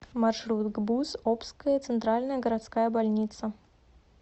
маршрут гбуз обская центральная городская больница